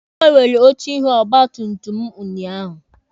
A gbanwere oche ihu ọgba tum tum mụ ụnyaahụ.